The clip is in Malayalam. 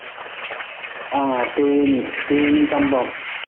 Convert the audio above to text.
ആഹ് തേനി തേനി, കമ്പം